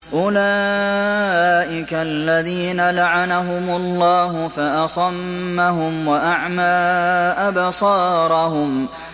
أُولَٰئِكَ الَّذِينَ لَعَنَهُمُ اللَّهُ فَأَصَمَّهُمْ وَأَعْمَىٰ أَبْصَارَهُمْ